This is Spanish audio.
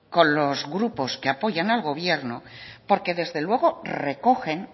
con los grupos que apoyan al gobierno porque desde luego recogen